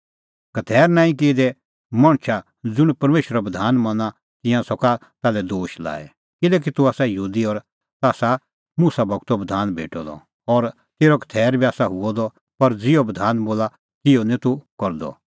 खतैर नांईं किऐ दै मणछ ज़ुंण परमेशरो बधान मना तिंयां सका ताल्है दोश लाई किल्हैकि तूह आसा यहूदी और ताह आसा मुसा गूरो बधान भेटअ द और तेरअ खतैर बी आसा हुअ द पर ज़िहअ बधान बोला तिहअ निं तूह करदअ